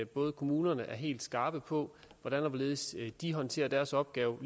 både at kommunerne er helt skarpe på hvordan og hvorledes de håndterer deres opgave